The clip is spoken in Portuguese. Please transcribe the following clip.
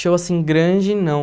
Show, assim, grande, não.